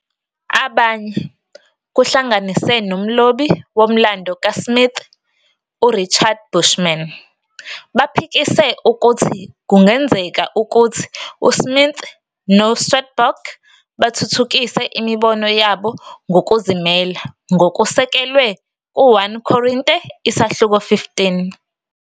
Abanye, kuhlanganise nomlobi womlando kaSmith uRichard Bushman baphikise ukuthi kungenzeka ukuthi uSmith noSwedborg bathuthukise imibono yabo ngokuzimela ngokusekelwe ku- 1 Korinte isahluko 15.